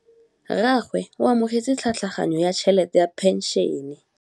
Rragwe o amogetse tlhatlhaganyô ya tšhelête ya phenšene.